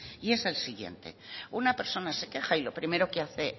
y es el siguiente una persona se queja y lo primero que hace